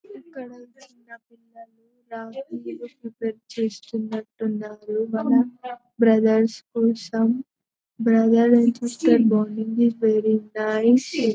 Prepare చేస్తున్నట్టు ఉన్నారు మన బ్రదర్స్ కోసం బ్రదర్ ని చూస్తుంటే బాగుంది వెరీ నైస్ .